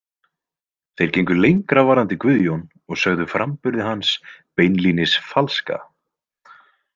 Þeir gengu lengra varðandi Guðjón og sögðu framburði hans beinlínis falska.